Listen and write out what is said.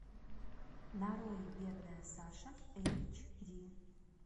нарой бедная саша эйч ди